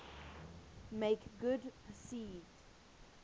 make good perceived